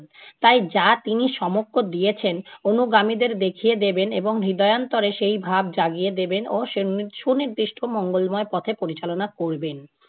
তাই যা তিনি সমক্ষ দিয়েছেন অনুগামীদের দেখিয়ে দেবেন এবং হৃদয়ান্তরে সেই ভাব জাগিয়ে দেবেন ও সুনি~ সুনির্দিষ্ট মঙ্গলময় পথে পরিচালনা করবেন।